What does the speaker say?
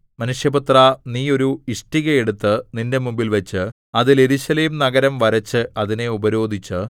മനുഷ്യപുത്രാ നീ ഒരു ഇഷ്ടിക എടുത്ത് നിന്റെ മുമ്പിൽവച്ച് അതിൽ യെരൂശലേം നഗരം വരച്ച് അതിനെ ഉപരോധിച്ച്